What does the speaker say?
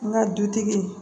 N ka dutigi